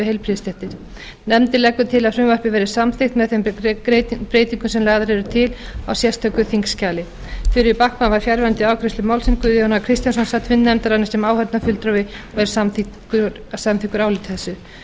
við heilbrigðisstéttir nefndin leggur til að frumvarpið verði samþykkt með þeim breytingum sem lagðar eru til í sérstöku þingskjali þuríður backman var fjarverandi við afgreiðslu málsins guðjón a kristjánsson sat fund nefndarinnar sem áheyrnarfulltrúi og er samþykkur áliti þessu